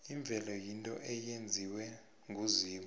imvelo yinto eyenziwe nguzimu